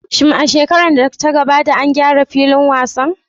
Shin a shekarar da ta gabata an gyara filin wasan?